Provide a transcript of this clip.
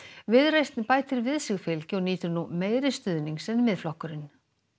viðreisn bætir við sig fylgi og nýtur nú meiri stuðnings en Miðflokkurinn